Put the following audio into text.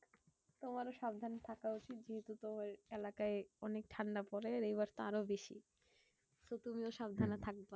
তোমারও সাবধানে থাকা উচিত। যেহেতু তোমার এলাকায় অনেক ঠান্ডা পরে। আর এইবার তো আরো বেশি। তো তুমি ও সাবধানে থাকবা।